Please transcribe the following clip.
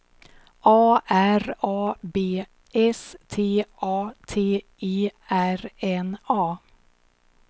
A R A B S T A T E R N A